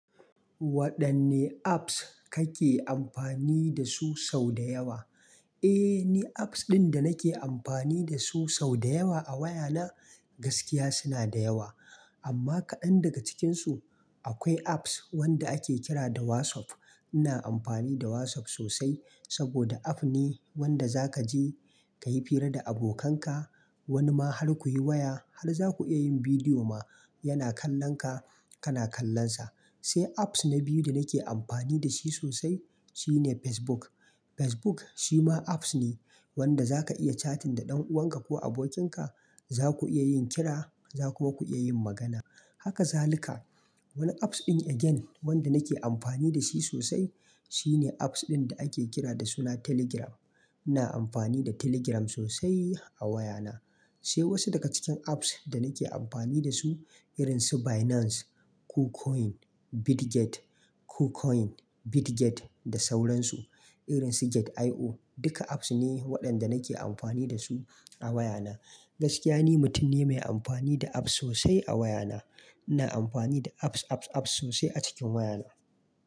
Waɗanne apps kake amfani da su sau da yawa? Eh, ni apps ɗin da nake amfani da su sau da yawa a wayana gaskiya suna da yawa. Amma kaɗan daga cikinsu akwai apps wanda ake kira da WhatsApp. Ina amfani da WhatsApp sosai saboda app ne wanda za ka je ka yi hira da abokanka. Wani ma har ku yi waya, har za ku iya yin bidiyo ma yana kallon ka, kana kallon sa. Sai apps na biyu da nake amfani da shi sosai shine Facebook. Facebook shi ma apps ne wanda za ka iya chatting da ɗan'uwanka ko abokinka. Za ku iya yin kira, za ku kuma ku iya yin magana. Haka za lika. Wani apps ɗin again wanda nake amfani da shi sosai shine apps ɗin da ake kira da suna Telegram. Ina amfani da Telegram sosai a wayana. Sai wasu daga cikin apps da nake amfani da su irin su Binance, KuCoin, Bitget, KuCoin, Bitget da sauran su irin su Gate io. Duka apps ne waɗanda nake amfani da su a wayana. Gaskiya ni mutum ne mai amfani da apps sosai a wayana. Ina amfani da apps, apps, apps sosai a cikin wayana.